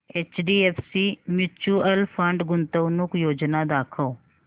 HDFC mutual fund गुंतवणूक योजना दाखव